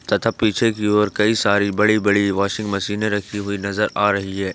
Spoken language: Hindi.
तथा पीछे की ओर कई सारी बड़ी बड़ी वाशिंग मशीने रखी हुई नजर आ रही है।